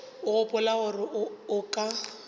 o gopola gore o ka